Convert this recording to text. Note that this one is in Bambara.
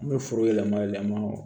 An bɛ foro yɛlɛma yɛlɛma